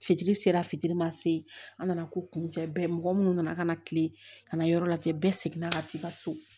Fitiri sera fitiri ma se an nana ko kuncɛ mɔgɔ minnu nana ka na kile kana yɔrɔ lajɛ bɛɛ seginna ka t'i ka so